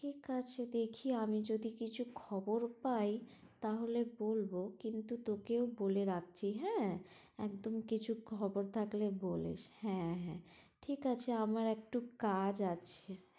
ঠিক আছে দেখি আমি যদি কিছু খবর পাই, তাহলে বলবো কিন্তু তোকেও বলে রাখছি হ্যাঁ একদম কিছু খবর থাকলে বলিস, হ্যাঁ হ্যাঁ ঠিক আছে আমার একটু কাজ আছে